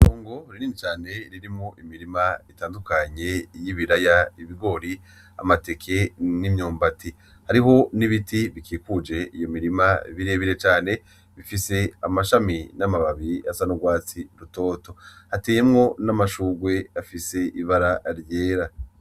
Itôgo rinini cane ririmwo imirima itandukanye y’ibiraya, ibigori, amateke n’imyumbati, hariho n’ibiti bikikuje iyo mirima birebire cane bifise amashami n’amababi asa n’urwatsi rutoto hateyemwo n’amashurwe afise ibara ryera.